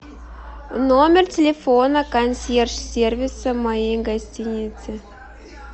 номер телефона консьерж сервиса моей гостиницы